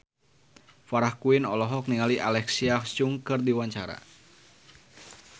Farah Quinn olohok ningali Alexa Chung keur diwawancara